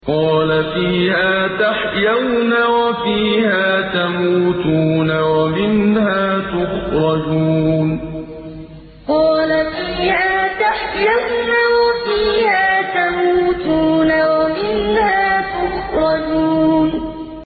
قَالَ فِيهَا تَحْيَوْنَ وَفِيهَا تَمُوتُونَ وَمِنْهَا تُخْرَجُونَ قَالَ فِيهَا تَحْيَوْنَ وَفِيهَا تَمُوتُونَ وَمِنْهَا تُخْرَجُونَ